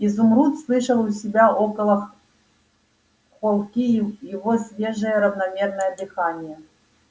изумруд слышал у себя около холки его свежее равномерное дыхание